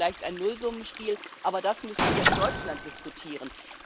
Ist das nicht vielleicht ein Nullsummenspiel? Aber das müssen wir in Deutschland diskutieren.